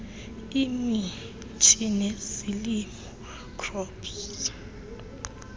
imithi nezilimo crops